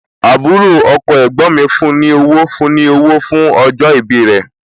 Àbúrò ọkọ ẹ̀gbọ́n mi fún ní owó fún ní owó fún ọjọ́ ìbí rẹ̀